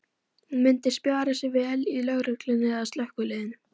Hún myndi spjara sig vel í lögreglunni eða slökkviliðinu.